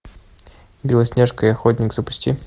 белоснежка и охотник запусти